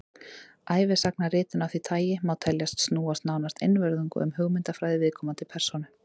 ævisagnaritun af því tagi má teljast snúast nánast einvörðungu um hugmyndafræði viðkomandi persónu